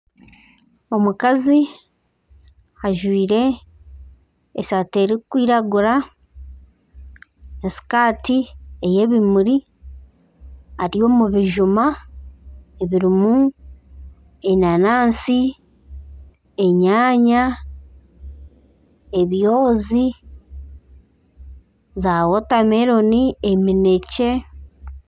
Omukazi ajwaire esaati erikwiragura, esikaati ey'ebimuri ari omu bijuma ebirimu enanansi, enyaanya, ebyozi zaawotameloni, eminekye.